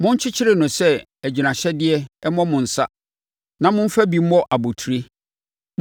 Monkyekyere no sɛ agyinahyɛdeɛ mmɔ mo nsa na momfa bi mmɔ abotire.